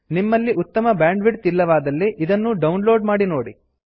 ನಿಮ್ಮಲ್ಲಿ ಉತ್ತಮ ಬ್ಯಾಂಡ್ವಿಡ್ತ್ ಇಲ್ಲವಾದಲ್ಲಿ ಇದನ್ನು ಡೌನ್ ಲೋಡ್ ಮಾಡಿ ನೋಡಿ